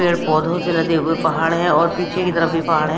पेड़ पौधों से लदे हुए पहाड़ है और पीछे की तरफ भी पहाड़ है।